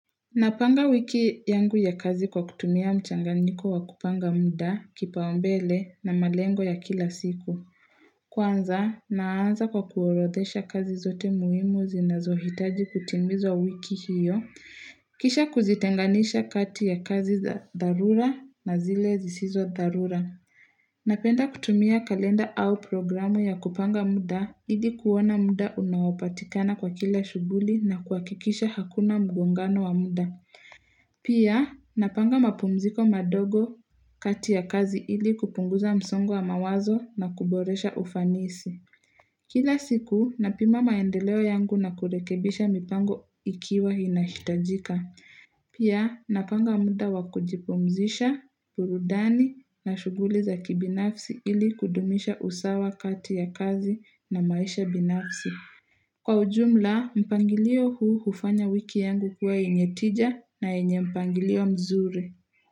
Napanga wiki yangu ya kazi kwa kutumia mchanganyiko wa kupanga muda, kipaombele, na malengo ya kila siku. Kwanza, naanza kwa kuorodhesha kazi zote muhimu zinazohitaji kutimizwa wiki hiyo. Kisha kuzitenganisha kati ya kazi za dharura na zile zisizo dharura. Napenda kutumia kalenda au programu ya kupanga muda ili kuona muda unaopatikana kwa kila shughuli na kuhakikisha hakuna mgongano wa muda. Pia, napanga mapumziko madogo kati ya kazi ili kupunguza msongo wa mawazo na kuboresha ufanisi. Kila siku, napima maendeleo yangu na kurekebisha mipango ikiwa inahitajika. Pia, napanga muda wakujipumzisha, burudani na shughuli za kibinafsi ili kudumisha usawa kati ya kazi na maisha binafsi. Kwa ujumla, mpangilio huu hufanya wiki yangu kuwa yenye tija na yenye mpangilio mzuri.